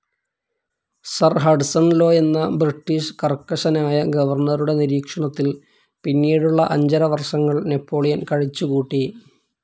സിർ Hudson Lowe എന്ന British കർക്കശനായ ഗവർണറുടെ നിരീക്ഷണത്തിൽ പിന്നീടുള്ള അഞ്ചര വർഷങ്ങൾ നാപ്പോളിയൻ കഴിച്ചുകൂട്ടി.